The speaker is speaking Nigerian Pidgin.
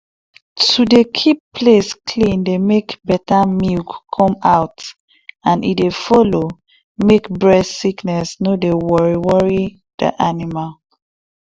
to dey keep place clean dey make better milk come out and e dey follow make breast sickness no dey worry worry di animal